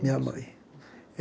Minha mãe.